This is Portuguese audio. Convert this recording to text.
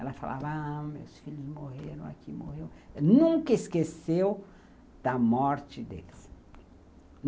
Ela falava, ah, meus filhos morreram aqui, morreu... Nunca esqueceu da morte deles.